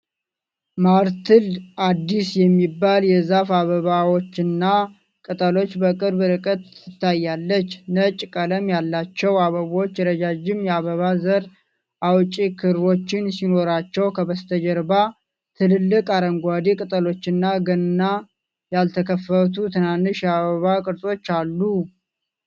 ማርትል (አዲስ) የሚባል የዛፍ አበባዎችና ቅጠሎች በቅርብ ርቀት ትታያለች። ነጭ ቀለም ያላቸው አበቦች ረዣዥም የአበባ ዘር አውጪ ክሮች ሲኖራቸው ከበስተጀርባ ትልልቅ አረንጓዴ ቅጠሎችና ገና ያልተከፈቱ ትናንሽ የአበባ ቅርጾች አሉ።